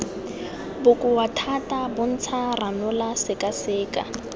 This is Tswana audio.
bokoa thata bontsha ranola sekaseka